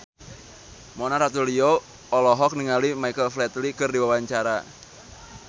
Mona Ratuliu olohok ningali Michael Flatley keur diwawancara